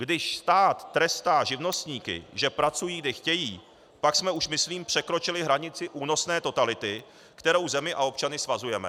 Když stát trestá živnostníky, že pracují, kdy chtějí, pak jsme už myslím překročili hranici únosné totality, kterou zemi a občany svazujeme.